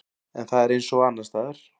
En það er eins og annarsstaðar.